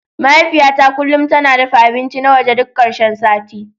Mahaifiyata kullum tana dafa abinci na waje duk karshen sati.